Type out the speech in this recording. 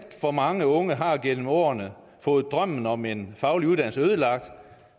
for mange unge har gennem årene fået drømmen om en faglig uddannelse ødelagt